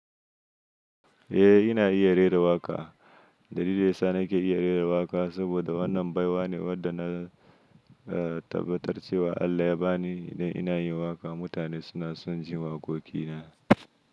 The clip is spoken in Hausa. Eh ina iya rera waƙa. Dalilin da ya sa nake iya rera waƙa saboda wannan baiwa ne wadda na tabbatar cewa Allah ya bani idan ina yin waƙa. Mutane suna son jin waƙoƙi na.